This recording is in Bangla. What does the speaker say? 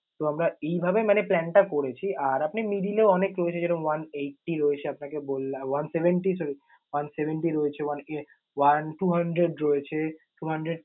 তো আমরা এইভাবে মানে plan টা করেছি। আর আপনি middle এ অনেক রয়েছে যেমন one eighty রয়েছে, আপনাকে বললাম one seventy sorry, one seventy রয়েছে one one two hundred রয়েছে two hundred